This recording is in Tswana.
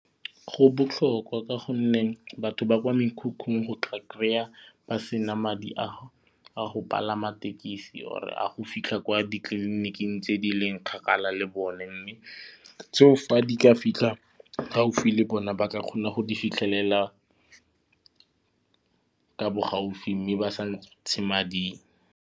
Go botlhokwa ka gonne batho ba kwa mekhukhung o tla kry-a ba sena madi a go palama tekesi or a go fitlha kwa ditleliniking tse di leng kgakala le bone mme fa di ka fitlha gaufi le bona ba ka kgona go di fitlhelela ka bo gaufi mme ba sa ntshe madi.